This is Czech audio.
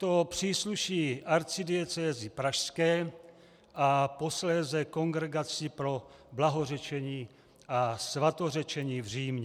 To přísluší Arcidiecézi pražské a posléze Kongregaci pro blahořečení a svatořečení v Římě.